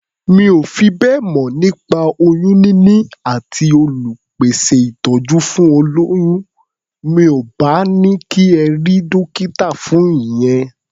Mi ò fi bẹ́ẹ̀ mọ̀ nípa oyún níní àti àwọn olùpèsẹ̀ ìtọ́jú fún olóyún. Mi ò bá ní kí ẹ rí dọ́kítà fún ìyẹn.